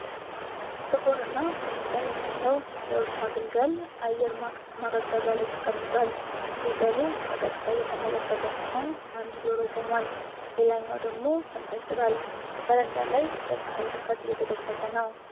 ጥቁር እና ቡኒ ቀለም ያለው የውሻ ግልገል አየር ማቀዝቀዣ ላይ ተቀምጧል። ግልገሉ በቀጥታ እየተመለከተ ሲሆን አንድ ጆሮው ቆሟል ሌላኛው ደግሞ ተንጠልጥሏል። በረንዳ ላይ በፀሐይ ሙቀት እየተደሰተ ነው።